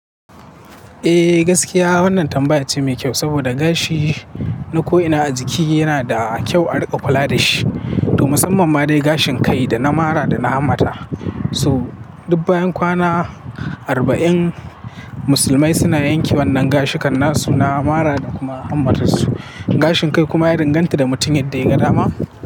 Eh gaskiya wannan tambaya ce mai kyau saboda gashi na ko'ina a jiki yana da kyau a riƙa kula da shi. To musamman ma dai gashin kai da na mara da na hamata. So duk bayan kwana arba'in musulmai suna yanke wannan gashi kanna su na mara da kuma hamatar su. Gashin kai kuma ya danganta da mutum yadda ya ga dama.